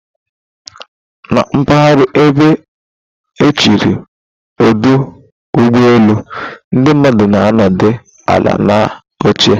Na mpaghara ebe echere ọdụ ụgbọ elu, ndị mmadụ na-anọdụ ala na oche